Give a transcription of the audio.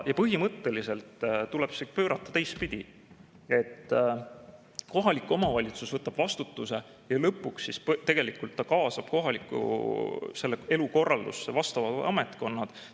Põhimõtteliselt tuleb see pöörata teistpidi: kohalik omavalitsus võtab vastutuse ja lõpuks kaasab kohaliku elu korraldusse vastavad ametkonnad.